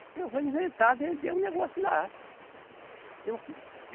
Porque eu vou inventar, vender um negócio lá. Eu